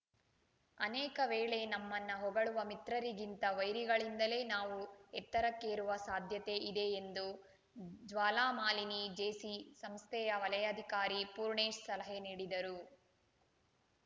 ಅನೇಕ ವೇಳೆ ನಮ್ಮನ್ನು ಹೊಗಳುವ ಮಿತ್ರರಿಗಿಂತ ವೈರಿಗಳಿಂದಲೇ ನಾವು ಎತ್ತರಕ್ಕೇರುವ ಸಾಧ್ಯತೆ ಇದೆ ಎಂದು ಜ್ವಾಲಾಮಾಲಿನಿ ಜೇಸಿ ಸಂಸ್ಥೆಯ ವಲಯಾಧಿಕಾರಿ ಪೂರ್ಣೇಶ್‌ ಸಲಹೆ ನೀಡಿದರು